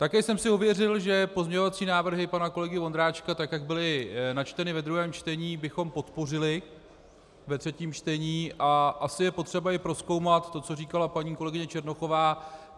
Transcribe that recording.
Také jsem si ověřil, že pozměňovací návrhy pana kolegy Vondráčka, tak jak byly načteny ve druhém čtení, bychom podpořili ve třetím čtení, a asi je potřeba i prozkoumat to, co říkala paní kolegyně Černochová.